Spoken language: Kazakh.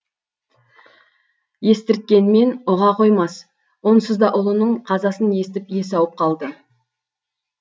естірткенмен ұға қоймас онсыз да ұлының қазасын естіп есі ауып қалды